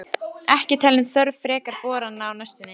Ekki talin þörf frekari borana á næstunni.